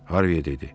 Harvi elədi.